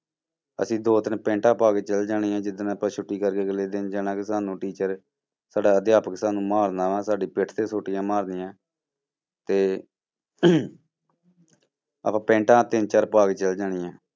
ਅਸੀਂ ਦੋ ਤਿੰਨ ਪੈਂਟਾਂ ਪਾ ਕੇ ਚਲੇ ਜਾਣੀਆਂ ਜਿੱਦਣ ਆਪਾਂ ਛੁੱਟੀ ਕਰਕੇ ਅਗਲੇ ਦਿਨ ਜਾਣਾ ਕਿ ਸਾਨੂੰ teacher ਸਾਡਾ ਅਧਿਆਪਕ ਸਾਨੂੰ ਮਾਰਨਾ ਵਾਂ ਸਾਡੀ ਪਿੱਠ ਤੇ ਸੋਟੀਆਂ ਮਾਰਨੀਆਂ ਤੇ ਆਪਾਂ ਪੈਂਟਾਂ ਤਿੰਨ ਚਾਰ ਪਾ ਕੇ ਚਲੇ ਜਾਣੀਆਂ।